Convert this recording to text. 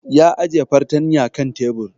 Ya ajiye fartanya kan tebur